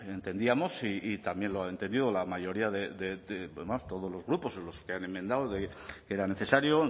bueno entendíamos y también lo ha entendido la mayoría de además todos los grupos los que han enmendado que era necesario